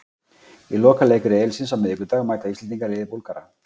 Í lokaleik riðilsins á miðvikudag mæta Íslendingar liði Búlgara.